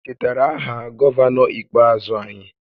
Ị chetara aha gọvanọ ikpeazụ anyị?